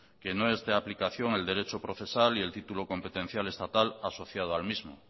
que no es de aplicación el derecho procesal y el título competencial estatal asociado al mismo